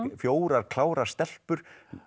fjórar klárar stelpur